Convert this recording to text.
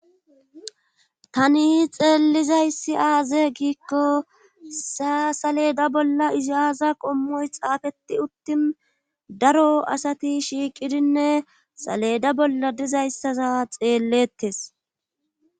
Tani xeellizayssi aaze giikko sa saleda bolla iziyaza qommoy xaafeti uttin daro asati shiiqidinne saleda bolla dizayssasa xeellettes